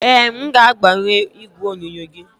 Ee, m ga-agbanwe igwe onyonyo gị.